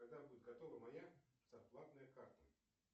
когда будет готова моя зарплатная карта